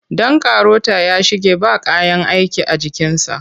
Ɗan karota ya shige ba kayan aiki a jikinsa.